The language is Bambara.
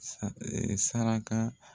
Sa saraka